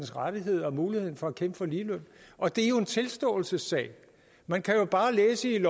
rettigheder og muligheden for at kæmpe for lige løn og det er jo en tilståelsessag man kan bare læse i